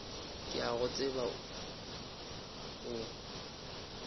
ke a go tseba o